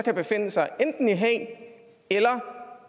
så befinde sig enten i haag eller